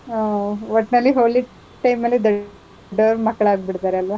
ಹ್ಮ್, ಒಟ್ನಲ್ಲಿ ಹೋಳಿ time ಅಲ್ಲಿ ದೊಡ್ಡೊರ್ ಮಕ್ಳ್ ಆಗ್ಬಿಡ್ತಾರೆ ಅಲ್ವಾ?